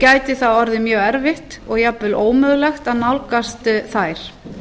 gæti það orðið mjög erfitt og jafnvel ómögulegt að nálgast þær